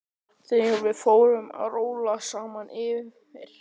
Þegar við fórum að róla saman yfir